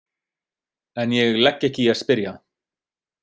En ég legg ekki í að spyrja.